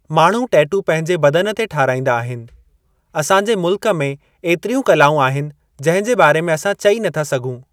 माण्हू टेटू पंहिंजे बदन ते ठाहिराईंदा आहिनि। असांजे मुल्क में एतिरियूं कलाऊं आहिनि जंहिं जे बारे में असां चई नथा सघूं।